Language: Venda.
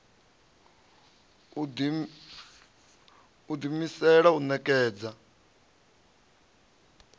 u ḓi imisela u ṋekedza